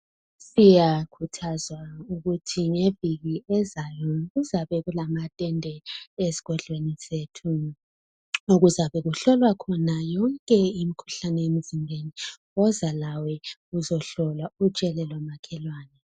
Siyakhuthazwa ukuthi ngeviki ezayo kuzabe kulamatende esigodlweni sethu okuzabe kuhlolwa khona yonke imikhuhlane emzimbeni woza lawe uzohlolwa utshele lomakhelwane.